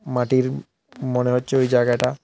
মাটির মনে হচ্ছে ওই জায়গাটা।